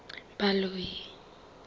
baloi